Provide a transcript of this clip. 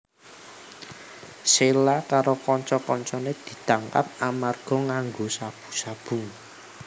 Sheila karo kanca kancané ditangkap amarga nganggo sabu sabu